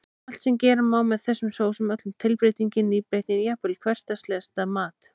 Allt sem gera má með þessum sósum, öll tilbreytingin, nýbreytnin, jafnvel úr hversdagslegasta mat.